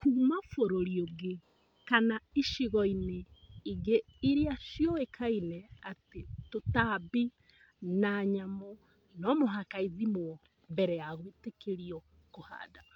kuma bũrũri ũngĩ kana icigoinĩ ingĩ iria cioĩkaine atĩ tũtambi na nyamũ nomũhaka ithimwo mbere ya gwĩtĩkĩrio kũhanda